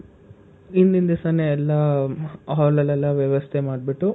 ಇಂದಿನ್ ದಿವಿಸನೆ ಎಲ್ಲಾ hall ಎಲ್ಲಾ ವ್ಯವಸ್ಥೆ ಮಾಡ್ಬುಟ್ಟು,